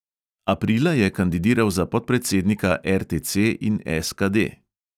Aprila je kandidiral za podpredsednika RTC in SKD.